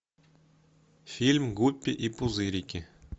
фильм гуппи и пузырики